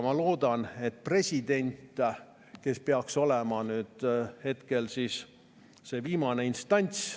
Ma loodan presidendile, kes peaks olema siin see viimane instants.